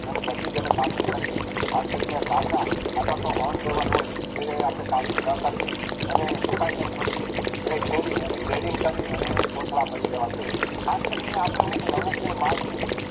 અને પછી જ એની કાપણી કરાવી ખાસ કરી ને પાકા અથવા તો un level હોય એની કાપણી ના કરાવી અને સુકાય જાય પછી એને ખેરી અને Grading કરી અને કોથળા ભરી લેવા જોઈએ ખાસ કરી ને આપણે હું છે અમુક જે માલ છે